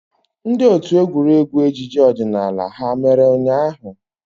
Ndị otu egwuregwu ejije odinala ha mere ụnyahụ?